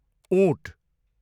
उँट